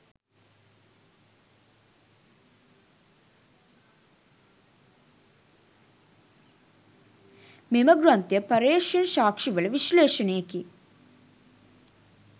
මෙම ග්‍රන්ථය පර්යේෂණ සාක්ෂි වල විශ්ලේෂණයකි.